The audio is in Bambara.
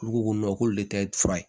Olu ko ko k'olu tɛ fura ye